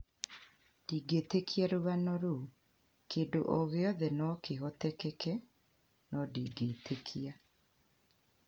Ndingĩtĩkia rũgano rũu, kindũ ogĩothe nokĩhoteteke nondingĩtĩkia